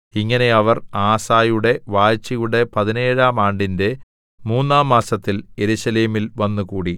ഇങ്ങനെ അവർ ആസയുടെ വാഴ്ചയുടെ പതിനേഴാം ആണ്ടിന്റെ മൂന്നാം മാസത്തിൽ യെരൂശലേമിൽ വന്നുകൂടി